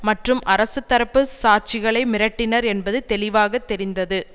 மற்றும் அரசுத்தரப்பு சாட்சிகளை மிரட்டினர் என்பது தெளிவாக தெரிந்தது